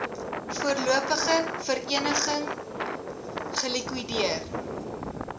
voorlopige vereniging gelikwideer